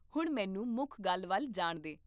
ਹੁਣ ਮੈਨੂੰ ਮੁੱਖ ਗੱਲ ਵੱਲ ਜਾਣ ਦੇ